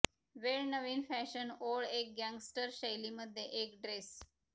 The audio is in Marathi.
वेळ नवीन फॅशन ओळ एक गँगस्टर शैली मध्ये एक ड्रेस